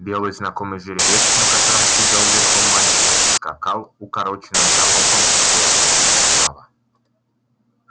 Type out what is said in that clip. белый знакомый жеребец на котором сидел верхом мальчик скакал укороченным галопом рядом справа